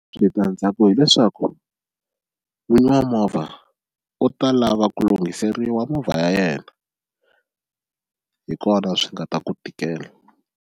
Switandzhaku hileswaku n'winyi wa movha u ta lava ku lunghiseriwa movha ya yena hi kona swi nga ta ku tikela.